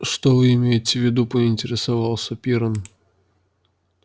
что вы имеете в виду поинтересовался пиренн